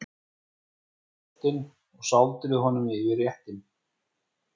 Rífið ostinn og sáldrið honum yfir réttinn.